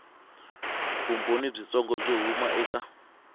vumbhoni byitsongo byo huma eka